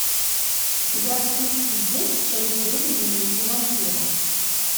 у тебя в списке есть часть девять дневники вампира